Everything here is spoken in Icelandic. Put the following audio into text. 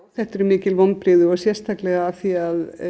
þetta eru mikil vonbrigði og sérstaklega af því að